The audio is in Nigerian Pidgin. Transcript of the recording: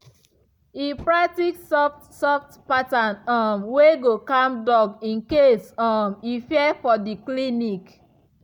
e practice soft soft pattern um wey go calm dog in case um e fear for the clinic.